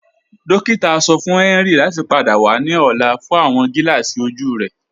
Dòkìtà sọ fún Henry láti pádà wà ní ọ̀là fún awọn gílààsí ojú rẹ.